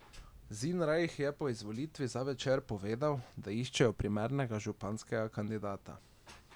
Zinrajh je po izvolitvi za Večer povedal, da iščejo primernega županskega kandidata.